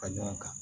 Fara ɲɔgɔn kan